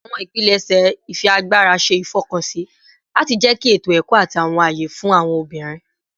Awọn ipilẹṣẹ ifiagbara ṣe ifọkansi lati jẹki eto-ẹkọ ati awọn aye fun awọn obinrin